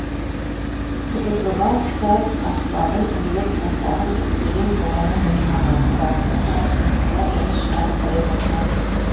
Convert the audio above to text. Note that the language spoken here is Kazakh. сыбызғыға ұқсас аспабын үрлеп қосағын іздеген бұғының не маралдың даусына салып сыңсыта дыбыс шығарып қойып отыратын